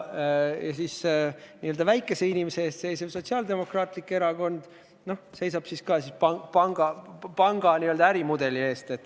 Nii-öelda väikese inimese eest seisev Sotsiaaldemokraatlik Erakond seisab panga ärimudeli eest.